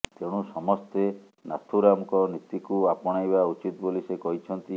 ତେଣୁ ସମସ୍ତେ ନାଥୁରାମଙ୍କ ନୀତିକୁ ଆପଣାଇବା ଉଚିତ୍ ବୋଲି ସେ କହିଛନ୍ତି